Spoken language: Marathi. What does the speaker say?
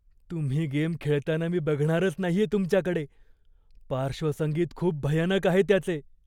तुम्ही गेम खेळताना मी बघणारच नाहीये तुमच्याकडे. पार्श्वसंगीत खूप भयानक आहे त्याचे!